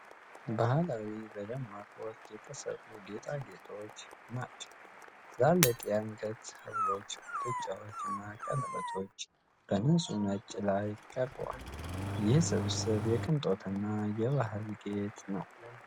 ባህላዊ፣ በደማቅ ወርቅ የተሠሩ ጌጣጌጦች ናቸው። ትላልቅ የአንገት ሀብሎች፣ ጉትቻዎችና ቀለበቶች በንጹህ ነጭ ላይ ቀርበዋል። ይህ ስብስብ የቅንጦትንና የባህል ጌጥ ነው።